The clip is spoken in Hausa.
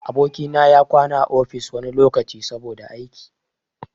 Aboki na ya na kwana a ofis wani lokaci, saboda aiki.